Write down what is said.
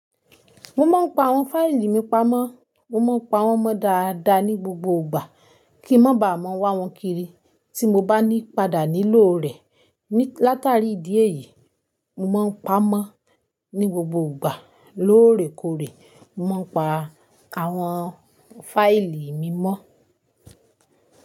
Mo máa ń pa àwọn fáìlì mi pamọ́. Mo máa ń pa wọ́n mọ dáadáa ní gbogbo ìgbà kí n má ba à mọ́ wá wọn kiri tí mo bá ní padà nílò rẹ̀. Látàrí ìdí èyí, mo máa ń pamọ́ ní gbogbo ìgbà. Lóòrèkóòrè, mo máa ń pa àwọn fáìlì mi mọ́